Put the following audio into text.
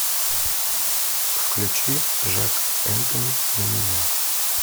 включи жак энтони на меня